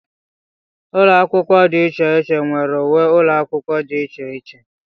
Ụlọ akwụkwọ dị iche iche nwere uwe ụlọ akwụkwọ dị iche iche.